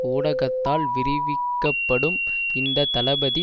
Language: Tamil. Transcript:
ஊடகத்தால் விரிவிக்கப்படும் இந்த தளபதி